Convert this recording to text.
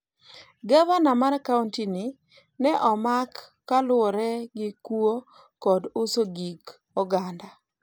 gavana mar kaonti ni ne omak kaluwore gi kuwo kod uso gik oganda